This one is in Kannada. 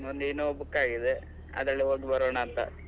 ಒಂದ್ Innova book ಆಗಿದೆ, ಅದ್ರಲ್ಲಿ ಹೋಗಿ ಬರೋಣ ಅಂತ .